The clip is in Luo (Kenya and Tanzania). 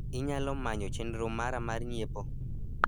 inyalo manyo chenro mara mar nyiepo